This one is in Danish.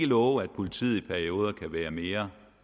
love at politiet i perioder kan være mere